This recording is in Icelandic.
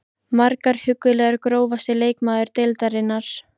Margar huggulegar Grófasti leikmaður deildarinnar?